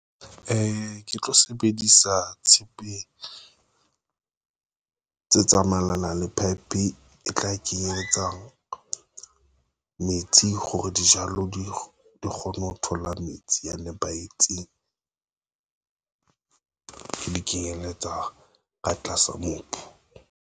Ke tlo sebedisa tshepe tse tsamaelana le pipe e tla ke etsa metsi. Hore dijalo di di kgone ho thola metsi a nepahetseng, di kenyeletsa ka tlasa mobu.